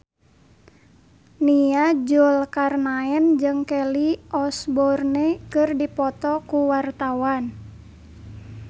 Nia Zulkarnaen jeung Kelly Osbourne keur dipoto ku wartawan